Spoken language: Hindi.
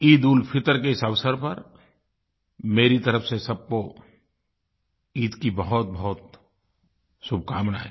ईदउलफ़ितर के इस अवसर पर मेरी तरफ़ से सबको ईद की बहुतबहुत शुभकामनायें